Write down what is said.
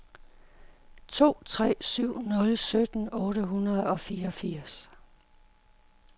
to tre syv nul sytten otte hundrede og fireogfirs